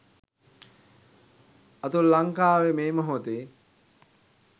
අතුල ලංකාවෙ මේ මොහොතෙ